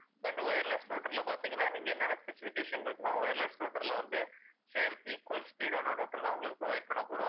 இப்ப இந்த wireless router ல பாத்திங்கனா நீங்க என்ன என்ன specification இருக்குன்னா wireless router ல வந்து same equal speed ஆன router தான் உங்களுக்கு provide பண்ணப்போறோம்.